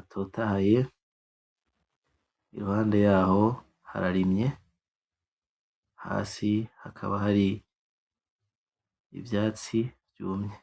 atotahaye iruhande yaho hararimye hasi hakaba hari ivyatsi vyumye